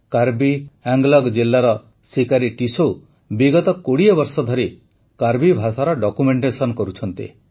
କର୍ବି ଆଙ୍ଗଲଂ ଜିଲାର ସିକାରୀ ଟିସୌ ବିଗତ ୨୦ ବର୍ଷ ଧରି କର୍ବି ଭାଷାର ଡକ୍ୟୁମେଣ୍ଟେସନ କରୁଛନ୍ତି